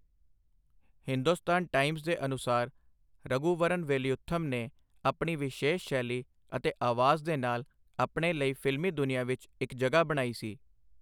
Hindustan Times ਦੇ ਅਨੁਸਾਰ, ਰਘੁਵਰਨ ਵੇਲਯੁਥਮ ਨੇ ਆਪਣੀ ਵਿਸ਼ੇਸ਼ ਸ਼ੈਲੀ ਅਤੇ ਆਵਾਜ਼ ਦੇ ਨਾਲ ਆਪਣੇ ਲਈ ਫ਼ਿਲਮੀ ਦੁਨੀਆਂ ਵਿੱਚ ਇੱਕ ਜਗ੍ਹਾ ਬਣਾਈ ਸੀ।